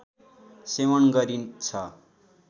सेवन गरिन्छ